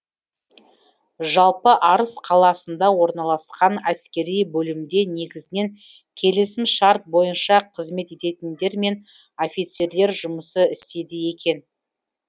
жалпы арыс қаласында орналасқан әскери бөлімде негізінен келісімшарт бойынша қызмет ететіндер мен офицерлер жұмыс істейді екен